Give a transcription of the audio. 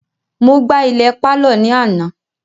Mo gbá ilẹ̀ pálọ̀ ní àná